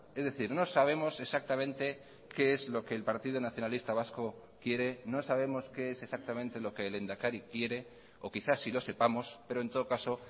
es decir no sabemos exactamente qué es lo que el partido nacionalista vasco quiere no sabemos qué es exactamente lo que el lehendakari quiere o quizás sí lo sepamos pero en todo caso